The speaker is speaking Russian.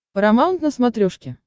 парамаунт на смотрешке